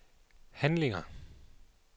handlinger